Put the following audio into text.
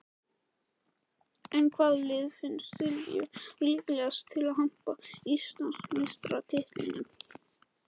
En hvaða lið finnst Silvíu líklegast til að hampa Íslandsmeistaratitlinum?